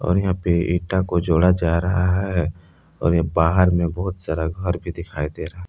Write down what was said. यहां पे ईटा को जोड़ा जा रहा है और बाहर में बहुत सारा घर भी दिखाई दे रहा है।